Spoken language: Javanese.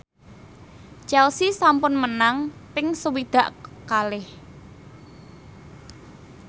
Chelsea sampun menang ping swidak kalih